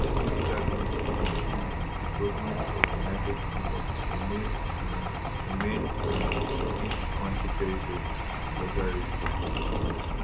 adegboyega bin lose im appeal with di gomentof united kingdom to remain um remain um within di kontri territory as legal resident